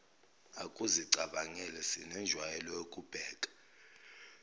ukuzicabangela sinenjwayelo yokubheka